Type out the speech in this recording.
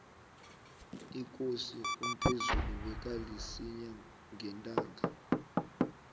ikosi umphezulu bekalisinya ngentanga